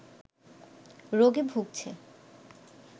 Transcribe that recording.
রোগে ভুগছে